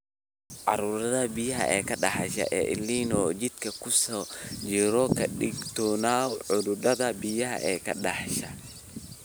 "Cudurka biyaha ka dhasha ee El Niño jidka ku soo jiro, ka digtoonow cudurrada biyaha ka dhasha.